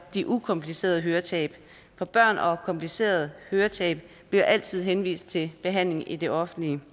de ukomplicerede høretab for børn og komplicerede høretab bliver altid henvist til behandling i det offentlige